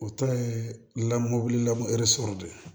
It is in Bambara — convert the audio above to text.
O ta ye lamɔn lamɔ de ye